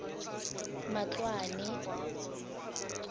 matloane